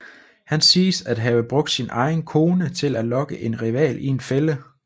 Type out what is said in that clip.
Han siges at have brugt sin egen kone til at lokke en rival i en fælde